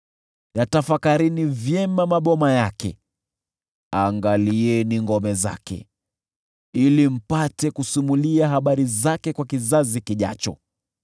yatafakarini vyema maboma yake, angalieni ngome zake, ili mpate kusimulia habari zake kwa kizazi kijacho.